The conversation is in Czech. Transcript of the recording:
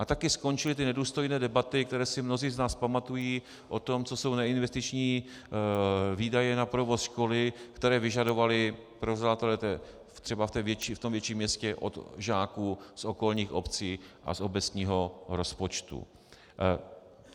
A také skončily ty nedůstojné debaty, které si mnozí z nás pamatují, o tom, co jsou neinvestiční výdaje na provoz školy, které vyžadovali provozovatelé třeba v tom větším městě od žáků z okolních obcí a z obecního rozpočtu.